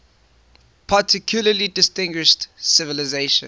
particularly distinguished civilization